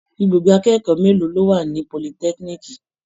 Ibùgbé akẹ́kọ̀ó mélòó ló wà ní politẹ́kíníìkì?